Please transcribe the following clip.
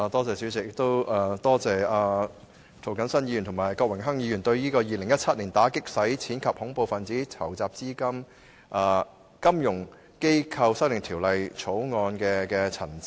主席，感謝涂謹申議員和郭榮鏗議員對《2017年打擊洗錢及恐怖分子資金籌集條例草案》的陳辭。